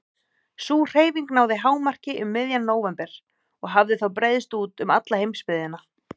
Sú hreyfing náði hámarki um miðjan nóvember og hafði þá breiðst út um alla heimsbyggðina.